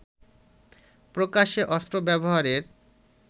প্রকাশ্যে অস্ত্র ব্যবহারের